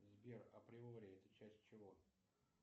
сбер априори это часть чего